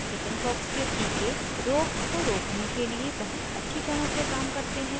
chickenpox के टीके रोग को रोकने के लिए बहुत अच्छी तरह से काम करते हैं